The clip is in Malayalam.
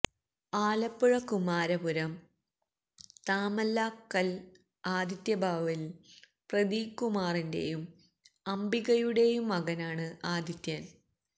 ആലപ്പുഴ കുമാരപുരം താമല്ലാക്കല് ആദിത്യഭവനില് പ്രദീപ് കുമാറിന്റെയും അംബികയുടെയും മകനാണ് ആദിത്യന്